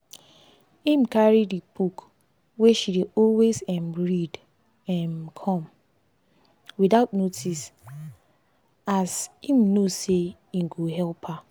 im carry the book wey she dey always um read um come without notice as im know say e go help her